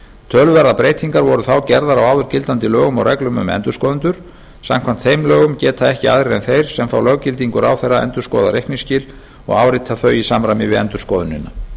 töluverðar breytingar voru þá gerðar á áður gildandi lögum og reglum um endurskoðendur samkvæmt þeim lögum geta ekki aðrir en þeir sem fá löggildingu ráðherra endurskoðað reikningsskil og áritað þau í samræmi við endurskoðunina